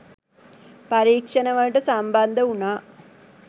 පරීක්ෂණවලට සම්බන්ධ වුණා